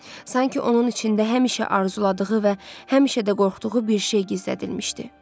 Sanki onun içində həmişə arzuladığı və həmişə də qorxduğu bir şey gizlədilmişdi.